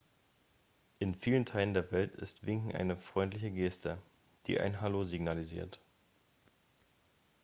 in vielen teilen der welt ist winken eine freundliche geste die ein hallo signalisiert